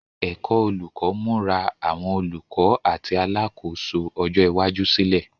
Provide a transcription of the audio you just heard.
Ẹ̀kọ́ Olùkọ́ ń múra àwọn olùkọ́ àti alákòóso ọjọ́ iwájú sílẹ̀.